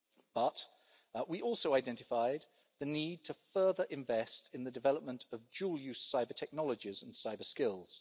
But we also identified the need to further invest in the development of dual use cyber-technologies and cyber-skills.